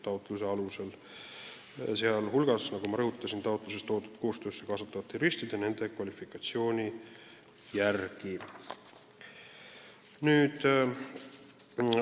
Nagu ma rõhutasin, kontrolliti ka taotluses kirjas olevate koostöös kasutatavate juristide kvalifikatsiooni.